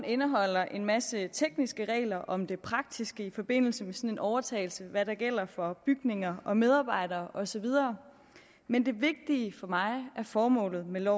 indeholder en masse tekniske regler om det praktiske i forbindelse med en sådan overtagelse hvad der gælder for bygninger og medarbejdere og så videre men det vigtige for mig er formålet med